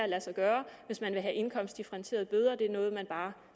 lade sig gøre hvis man vil have indkomstdifferentierede bøder for det er noget man bare